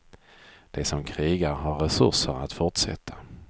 De som krigar har resurser att fortsätta.